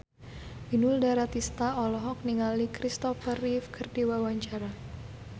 Inul Daratista olohok ningali Christopher Reeve keur diwawancara